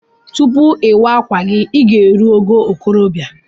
Tupu iwa akwa gi iga erụ ogo okorobia.